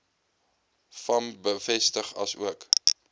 vam bevestig asook